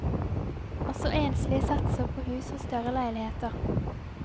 Også enslige satser på hus og større leiligheter.